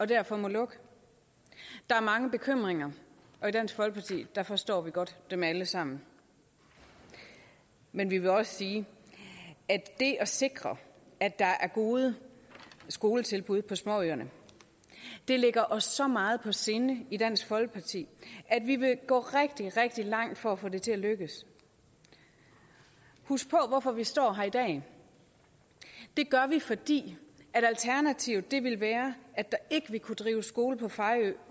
derfor må lukke der er mange bekymringer og i dansk folkeparti forstår vi godt dem alle sammen men vi vil også sige at det at sikre at der er gode skoletilbud på småøerne ligger os så meget på sinde i dansk folkeparti at vi vil gå rigtig rigtig langt for at få det til at lykkes husk på hvorfor vi står her i dag det gør vi fordi alternativet ville være at der ikke ville kunne drives skole på fejø